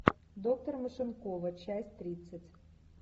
доктор машенкова часть тридцать